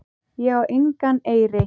Ég á engan eyri.